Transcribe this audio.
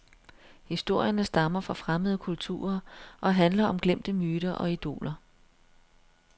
Historierne stammer fra fremmede kulturer og handler om glemte myter og idoler.